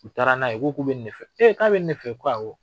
U taara n'a ye, ko k'u bɛ ni de fɛ. E k'a bɛ ni de fɛ? O ko awɔ.